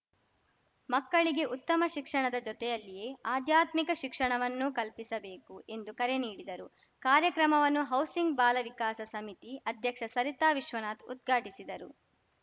ಮಕ್ಕಳಿಗೆ ಉತ್ತಮ ಶಿಕ್ಷಣದ ಜೊತೆಯಲ್ಲಿಯೇ ಆಧ್ಯಾತ್ಮಿಕ ಶಿಕ್ಷಣವನ್ನೂ ಕಲ್ಪಿಸಬೇಕು ಎಂದು ಕರೆ ನೀಡಿದರು ಕಾರ್ಯಕ್ರಮವನ್ನು ಹೌಸಿಂಗ್‌ ಬಾಲ ವಿಕಾಸ ಸಮಿತಿ ಅಧ್ಯಕ್ಷ ಸರಿತಾ ವಿಶ್ವನಾಥ್‌ ಉದ್ಘಾಟಿಸಿದರು